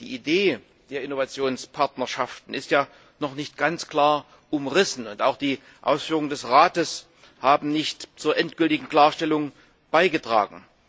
Die Idee der Innovationspartnerschaften ist ja noch nicht ganz klar umrissen. Auch die Ausführungen des Rates haben nicht zur endgültigen Klarstellung beigetragen.